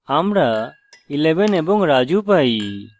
আমরা 11 এবং raju পাই